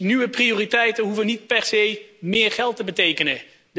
Nieuwe prioriteiten hoeven niet per se meer geld te betekenen.